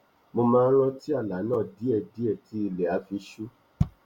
mo máa n rántí àlá náà díẹdíẹ tí ilẹ á fi ṣú